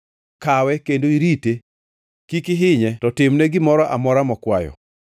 “Kawe kendo irite; kik ihinye to timne gimoro amora mokwayo.”